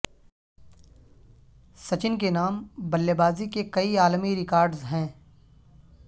سچن کے نام بلے بازی کے کئی عالمی ریکارڈز ہیں